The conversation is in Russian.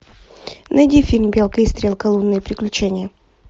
найди фильм белка и стрелка лунные приключения